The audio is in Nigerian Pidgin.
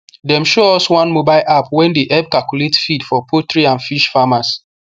dem show us one mobile app wey dey help calculate feed for poultry and fish farmers